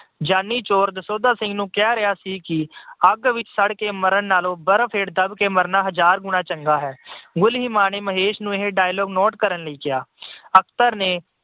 ਜਾਨੀ ਚੋਰ ਦਸੌਂਧਾ ਸਿੰਘ ਨੂੰ ਕਹਿ ਰਿਹਾ ਸੀ ਕਿ ਅੱਗ ਵਿੱਚ ਸੜ ਕੇ ਮਰਨ ਨਾਲੋਂ ਬਰਫ ਹੇਠ ਦੱਬ ਕੇ ਮਰਨਾ ਹਜਾਰ ਗੁਣਾ ਚੰਗਾ ਹੈ। ਗੁਲੀਮਾ ਨੇ ਮਹੇਸ਼ ਨੂੰ ਇਹ dialogue note ਕਰਨ ਲਈ ਕਿਹਾ। ਅਖਤਰ ਨੇ